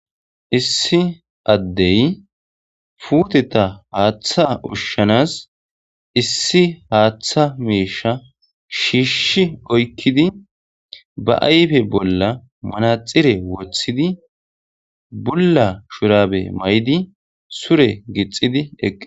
Issi addey puuteta haaththa ushshanas issi haaththa meisha shiishshi oykkidi ba ayfe bolla manaxire wothidi bulla shurabe may7di sure gixidi eqqi.